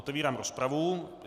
Otevírám rozpravu.